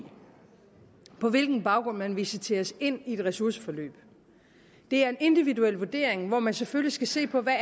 på hvilken baggrund man visiteres ind i et ressourceforløb det er en individuel vurdering hvor man selvfølgelig skal se på hvad